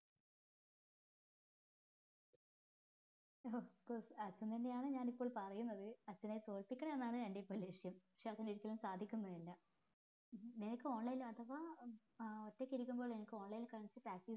of course അച്ഛൻ തന്നെയാണ് ഞാനിപ്പോൾ പറയുന്നത് അച്ഛനെ തോൽപിക്കണം എന്നാണ് എൻ്റെ ഇപ്പൊ ലക്ഷ്യം പക്ഷെ അതൊരിക്കലും സാധിക്കുന്നില്ല നിനക്ക് online ല് അഥവാ ഏർ ഒറ്റക്കിരിക്കുമ്പോ എനിക്ക് online ല് കളിച്ച്